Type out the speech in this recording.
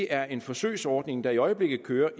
er en forsøgsordning der i øjeblikket kører